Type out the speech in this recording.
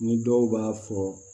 Ni dɔw b'a fɔ